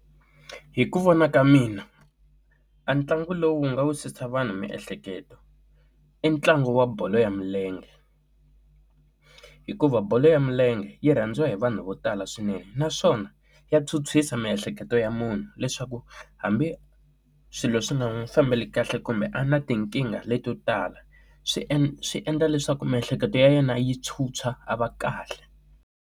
Hi ku vona ka mina a ntlangu lowu nga wu susa vanhu miehleketo i ntlangu wa bolo ya milenge hikuva bolo ya milenge yi rhandziwa hi vanhu vo tala swinene naswona ya tshwutshwisa miehleketo ya munhu leswaku hambi swilo swi nga n'wi fambela kahle kumbe a na tinkingha leti yo tala swi endla swi endla leswaku miehleketo ya yena yi tshwutshwa a va kahle.